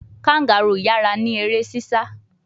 Kangaroo yara ni ere sisa